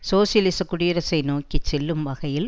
சோசியலிசக் குடியரசை நோக்கி செல்லும் வகையில்